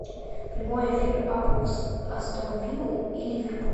прямой эфир апл астон виллы и ливерпуль